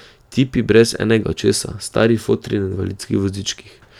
Tipi brez enega očesa, stari fotri na invalidskih vozičkih.